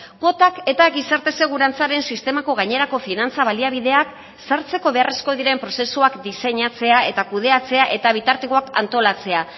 kuotak eta gizarte segurantzaren sistemako gainerako finantza baliabideak sartzeko beharrezkoak diren prozesuak diseinatzea eta kudeatzea eta bitartekoak antolatzea